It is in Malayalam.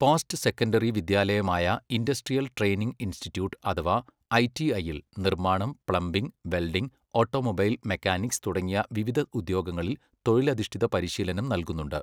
പോസ്റ്റ് സെക്കൻഡറി വിദ്യാലയമായ ഇൻഡസ്ട്രിയൽ ട്രെയിനിംഗ് ഇൻസ്റ്റിട്യൂട്ട് അഥവാ ഐടിഐയിൽ നിർമ്മാണം, പ്ലംബിംഗ്, വെൽഡിംഗ്, ഓട്ടോമൊബൈൽ മെക്കാനിക്സ് തുടങ്ങിയ വിവിധ ഉദ്യോഗങ്ങളിൽ തൊഴിലധിഷ്ഠിത പരിശീലനം നൽകുന്നുണ്ട്.